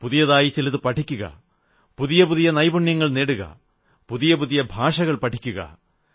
പുതിയതായി ചിലതു പഠിക്കുക പുതിയ പുതിയ നൈപുണ്യങ്ങൾ നേടുക പുതിയ പുതിയ ഭാഷകൾ പഠിക്കുക